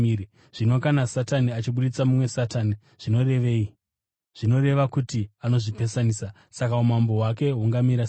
Zvino kana Satani achibudisa mumwe Satani, zvinoreva kuti anozvipesanisa. Saka umambo hwake hungamira sei?